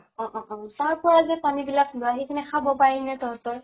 অ অ অ । তাৰ পৰা যে পানী বিলাক লোৱা সেই খিনি খাব পাৰি নে তহঁতৰ?